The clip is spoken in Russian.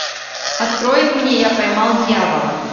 открой мне я поймал дьявола